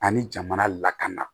Ani jamana lakana